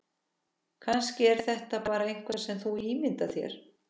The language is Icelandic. Kannski er þetta bara eitthvað sem þú ímyndar þér.